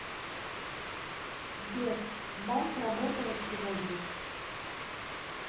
сбер банк работает сегодня